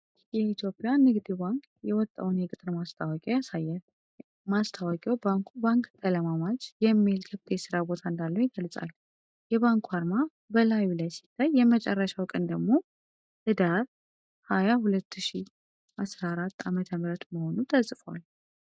የኢትዮጵያ ንግድ ባንክ የወጣውን የቅጥር ማስታወቂያ (VACANCY) ያሳያል። ማስታወቂያው ባንኩ 'ባንክ ተለማማጅ' (Bank Trainee) የሚል ክፍት የሥራ ቦታ እንዳለው ይገልጻል። የባንኩ አርማ በላዩ ላይ ሲታይ፣ የመጨረሻው ቀን ደግሞ ኅዳር 20፣ 2014 ዓ.ም. መሆኑ ተጽፏል።